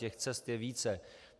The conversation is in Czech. Těch cest je více.